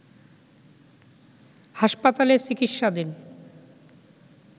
হাসপাতালে চিকিৎসাধীন